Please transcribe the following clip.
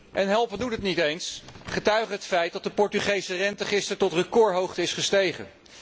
En helpen doet het niet eens, getuige het feit dat de Portugese rente gisteren tot recordhoogte is gestegen.